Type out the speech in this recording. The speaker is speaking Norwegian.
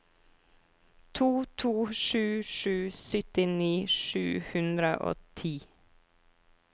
to to sju sju syttini sju hundre og ti